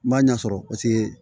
N b'a ɲɛ sɔrɔ paseke